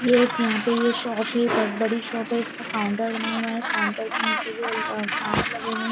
यह एक यहा पे ये शॉप है बहुत बड़ी शॉप है इसका काउन्टर बना हुआ है काउन्टर के नीचे भी कांच लगे हुए है।